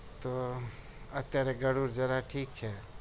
તો અત્યારે ગળુ ઠીક છે